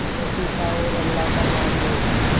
रोटी खाओ और अल्लाह का नाम लो